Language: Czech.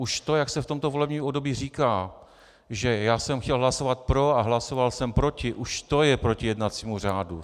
Už to, jak se v tomto volebním období říká, že já jsem chtěl hlasovat pro a hlasoval jsem proti, už to je proti jednacímu řádu.